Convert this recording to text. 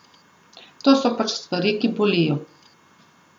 To so pač stvari, ki bolijo.